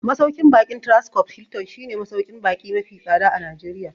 Masauƙin baƙin Transcorp Hilton shi ne masauƙin baƙi mafi tsada a Najeriya